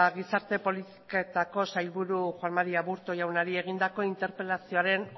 gizarte politiketako sailburu juan mari aburto jaunari egindako interpelazioaren